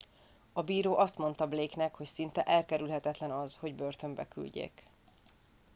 a bíró azt mondta blake nek hogy szinte elkerülhetetlen az hogy börtönbe küldjék